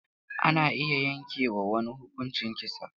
Ana iya yanke wa wani huƙuncin kisa.